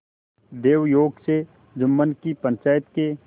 दैवयोग से जुम्मन की पंचायत के